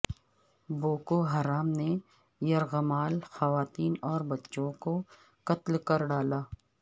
Boko Haram نے یرغمال خواتین اور بچوں کو قتل کر ڈالا